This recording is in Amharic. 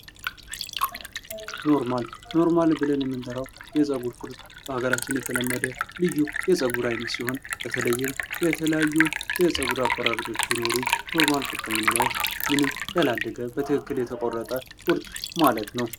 ኖርማል፡- ኖርማል ብለን የምንጠራው የፀጉር ቁርጥ በሀገራችን የተለመደ ልዩ የፀጉር አይነት ሲሆን በተለይም የተለያዩ የፀጉር አቆራረጦች ቢኖሩም ኖርማል ቁርጥ የምንለው ምንም ያላደገ በትክክል የተቆረጠ ቁርጥ ማለት ነው።